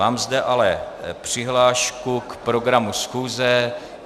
Mám zde ale přihlášku k programu schůze.